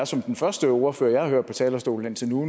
som den første ordfører jeg har hørt på talerstolen indtil nu